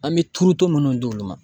An bɛ turuto minnu di olu ma